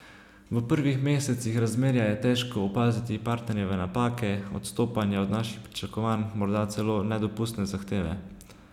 V prvih mesecih razmerja je težko opaziti partnerjeve napake, odstopanja od naših pričakovanj, morda celo nedopustne zahteve.